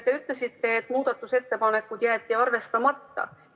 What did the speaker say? Te ütlesite, et see muudatusettepanek jäeti arvestamata.